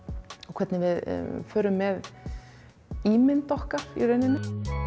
hvernig við förum með ímynd okkar í rauninni